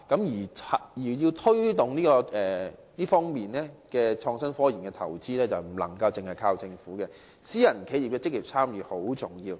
如要推動創新科研的投資，不能單靠政府，私人企業的積極參與亦很重要。